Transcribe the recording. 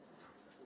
Ən yaxşısın.